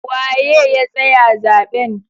Waye ya tsaya zaben?